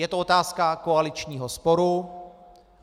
Je to otázka koaličního sporu.